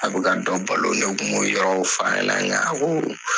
A bɛ ka dɔw balo ne tun ma o yɔrɔw fɔ nka a ko